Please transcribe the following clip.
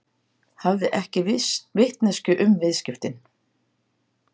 Hafði ekki vitneskju um viðskiptin